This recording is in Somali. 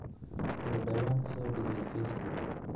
oo dhawaan soo dhigay facebook